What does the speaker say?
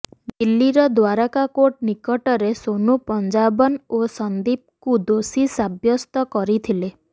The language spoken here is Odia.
ଦିଲ୍ଲୀର ଦ୍ବାରକା କୋର୍ଟ ନିକଟରେ ସୋନୁ ପଞ୍ଜାବନ ଓ ସନ୍ଦୀପକୁ ଦୋଷୀ ସାବ୍ୟସ୍ତ କରିଥିଲେ